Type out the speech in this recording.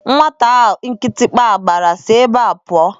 Nwata a kịtịkpa gbara si ebe a pụọ!